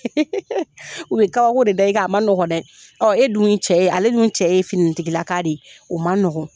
U bɛ kabako de da i kan a man nɔgɔn dɛ e dun cɛ ye ale dun cɛ ye finitigilaka de ye, o man nɔgɔn